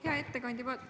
Hea ettekandja!